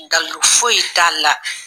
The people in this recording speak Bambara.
Nkalon foyi t'a la